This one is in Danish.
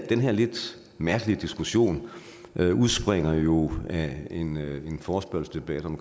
den her lidt mærkelige diskussion udspringer jo af en en forespørgselsdebat om